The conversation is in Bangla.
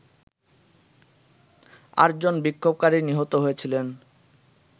আটজন বিক্ষোভকারী নিহত হয়েছিলেন